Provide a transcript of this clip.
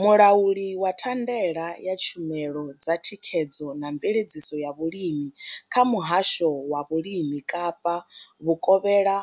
Mulauli wa thandela ya tshumelo dza thikhedzo na mveledziso ya vhulimi kha muhasho wa vhulimi Kapa vhukovhela